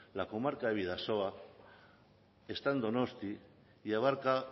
la comarca de bidasoa está en donostia y abarca